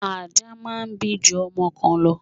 Ajá máà ń bí ju ọmọ kan lọ